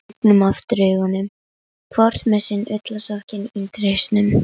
Lygnum aftur augunum, hvort með sinn ullarsokkinn undir hausnum.